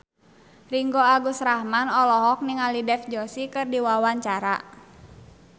Ringgo Agus Rahman olohok ningali Dev Joshi keur diwawancara